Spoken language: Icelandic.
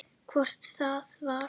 Hvort það var!